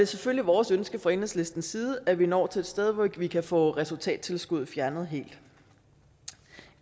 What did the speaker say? selvfølgelig vores ønske fra enhedslistens side at nå til et sted hvor vi kan få resultattilskuddet fjernet helt